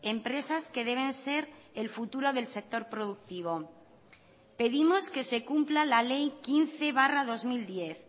empresas que deben ser el futuro del sector productivo pedimos que se cumpla la ley quince barra dos mil diez